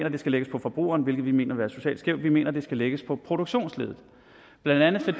at de skal lægges på forbrugerne hvilket vi mener vil være socialt skævt vi mener at de skal lægges på produktionsleddet blandt andet